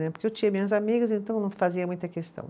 Porque eu tinha minhas amigas, então não fazia muita questão.